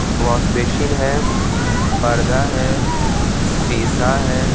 व्हाश basin है परदा है शीशा है